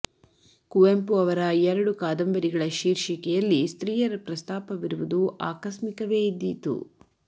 ಕುವೆಂಪು ಅವರ ಎರಡು ಕಾದಂಬರಿಗಳ ಶೀರ್ಷಿಕೆಯಲ್ಲಿ ಸ್ತ್ರೀಯರ ಪ್ರಸ್ತಾಪವಿರುವುದು ಆಕಸ್ಮಿಕವೇ ಇದ್ದೀತು